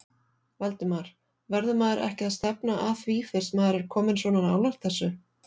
Valdimar: Verður maður ekki að stefna að því fyrst maður er kominn svona nálægt þessu?